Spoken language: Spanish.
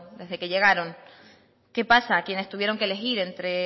desde que llegaron qué pasa con quienes tuvieron que elegir entre